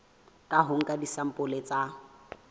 ka ho nka disampole tsa